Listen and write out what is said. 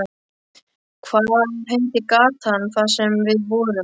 Hvað heitir gatan þar sem við vorum?